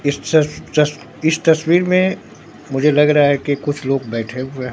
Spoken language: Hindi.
इस तस तस इस तस्वीर में मुझे लग रहा है कि कुछ लोग बैठे हुए है।